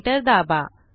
enter दाबा